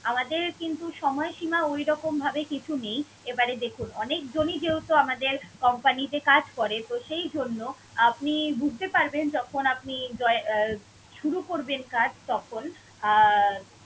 আমাদের কিন্তু সময়সীমা ওইরকম ভাবে কিছু নেই। এবারে দেখুন, অনেক জনই যেহেতু আমাদের company তে কাজ করে সেই জন্য আপনি বুঝতে পারবেন যখন আপনি দয়~ উহ শুরু করবেন কাজ তখন আহ